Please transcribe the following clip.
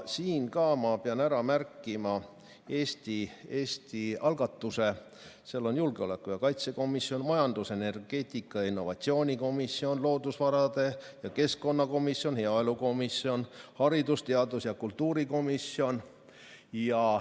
Siinkohal ma pean ka ära märkima Eesti algatuse, seal on julgeoleku- ja kaitsekomisjon; majandus-, energeetika- ja innovatsioonikomisjon; loodusvarade ja keskkonnakomisjon; heaelukomisjon; haridus-, teadus- ja kultuurikomisjon.